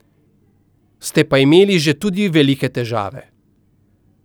Ste pa imeli že tudi velike težave.